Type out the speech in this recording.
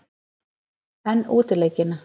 En útileikina?